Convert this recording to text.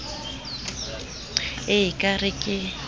e e ka re ke